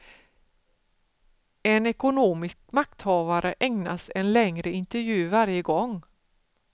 En ekonomisk makthavare ägnas en längre intervju varje gång.